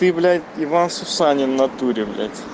ты блядь иван сусанин в натуре блядь